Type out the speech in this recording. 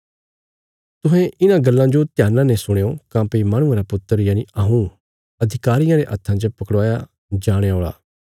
तुहें इन्हां गल्लां जो ध्याना ने सुणयों काँह्भई माहणुये रा पुत्र यनि हऊँ अधिकारियां रे हत्था च पकड़वाया जणे औल़ा